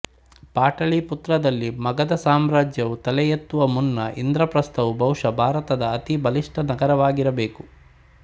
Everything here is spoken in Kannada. ಪಾಟಲೀಪುತ್ರದಲ್ಲಿ ಮಗಧ ಸಾಮ್ರಾಜ್ಯವು ತಲೆ ಎತ್ತುವ ಮುನ್ನ ಇಂದ್ರಪ್ರಸ್ಥವು ಬಹುಶಃ ಭಾರತದ ಅತಿ ಬಲಿಷ್ಠ ನಗರವಾಗಿರಬೇಕು